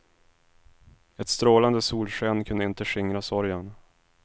Ett strålande solsken kunde inte skingra sorgen.